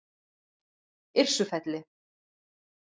Yrsufelli